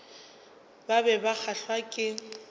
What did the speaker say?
ba be ba kgahlwa ke